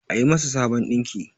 a yi masà Sabon dinki!